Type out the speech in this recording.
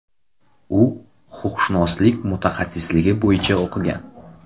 U huquqshunoslik mutaxassisligi bo‘yicha o‘qigan.